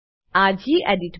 આ ગેડિટ